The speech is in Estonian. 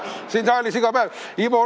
Siin saalis iga päev!